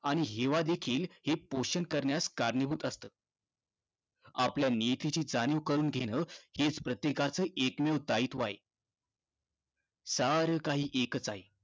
आणि हेवादेखील हे पोषण करण्यास कारणीभूत असतं. आपल्या नियतीची जाणीव करून घेणं हेच प्रत्येकाचं एकमेव दायित्व आहे. सारं काही एकचं आहे.